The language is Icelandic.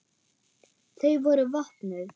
Þau voru vopnuð.